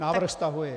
Návrh stahuji.